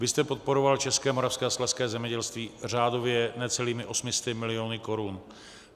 Vy jste podporoval české, moravské a slezské zemědělství řádově necelými 800 miliony korun.